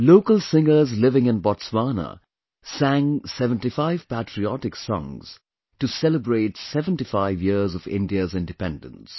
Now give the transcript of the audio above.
Local singers living in Botswana sang 75 patriotic songs to celebrate 75 years of India's independence